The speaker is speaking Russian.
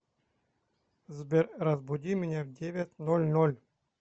сбер разбуди меня в девять ноль ноль